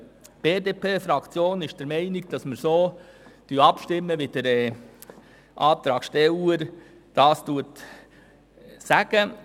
Die BDP-Fraktion ist der Meinung, dass wir gemäss dem Antrag des Antragstellers abstimmen werden: